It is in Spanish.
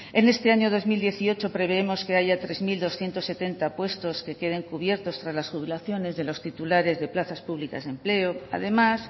en este año dos mil dieciocho prevemos que haya tres mil doscientos setenta puestos que queden cubiertos tras las jubilaciones de los titulares de plazas públicas de empleo además